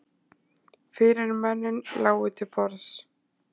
Fyrirmennin lágu til borðs.